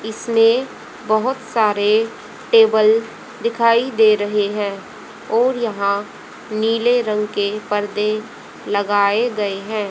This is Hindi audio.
इसमें बहुत सारे टेबल दिखाई दे रहे हैं और यहां नीले रंग के पर्दे लगाए गए हैं।